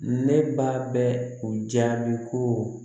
Ne ba bɛ o jaabi ko